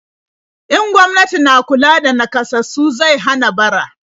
In gwamnati na kula da naƙasassu zai hana bara.